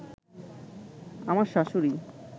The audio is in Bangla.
আমার শাশুড়ি